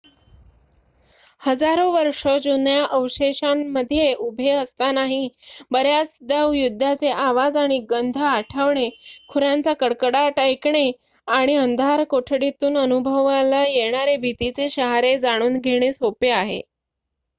हजारो वर्ष जुन्या अवशेषांमध्ये उभे असतानाही बर्‍याचदा युद्धाचे आवाज आणि गंध आठवणे खुरांचा कडकडाट ऐकणे आणि अंधारकोठडीतून अनुभवला येणारे भीतीचे शहारे जाणून घेणे सोपे आहे